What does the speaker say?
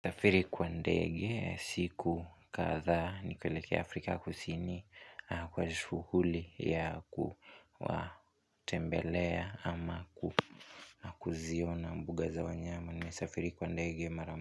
Safiri kwa ndege siku katha nikilekea Afrika kusini kwa shuhuli ya kuwa tembelea ama kuziona mbuga za wanyama ni safiri kwa ndege maramu.